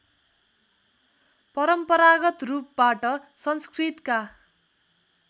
परम्परागत रूपबाट संस्कृतका